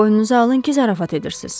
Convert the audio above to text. Boynunuza alın ki, zarafat edirsiz.